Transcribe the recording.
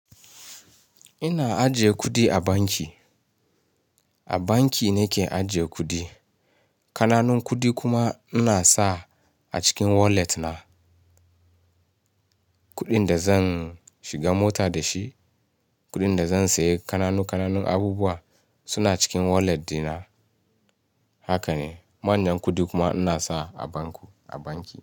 Ina ajiye kuɗi a banki. A banki nake ajiye kuɗi. Kananun kuɗi kuma ina sa a cikin wallet na. Kuɗin da zan shiga mota da shi, kuɗin da zan sayi kananun abubuwa suna cikin wallet dina. Haka ne. Manyan kuɗi kuma ina sa a banku, a banki.